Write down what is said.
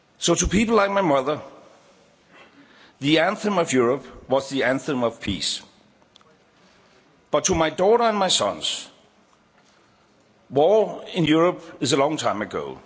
To people like my mother, the Anthem of Europe was the anthem of peace, but to my daughter and my sons, war in Europe is a long time ago.